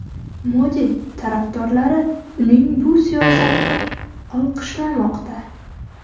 Modi tarafdorlari uning bu siyosatini olqishlamoqda.